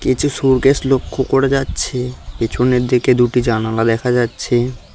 কিছু লক্ষ করা যাচ্ছে পিছনের দিকে দুটি জানালা দেখা যাচ্ছে।